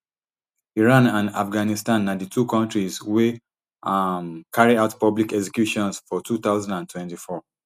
iran and afghanistan na di two kontris wey um carry out public executions for two thousand and twenty-four